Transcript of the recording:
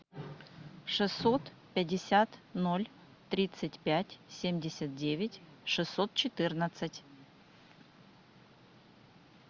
шестьсот пятьдесят ноль тридцать пять семьдесят девять шестьсот четырнадцать